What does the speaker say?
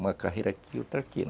Uma carreira aqui, outra aqui.